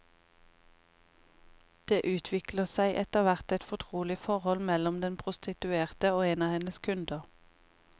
Det utvikler seg etterhvert et fortrolig forhold mellom den prostituerte og en av hennes kunder.